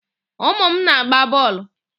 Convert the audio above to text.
Ụmụ m na-agba bọọlụ.